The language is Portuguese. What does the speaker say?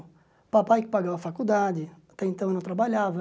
O papai que pagava a faculdade, até então eu não trabalhava.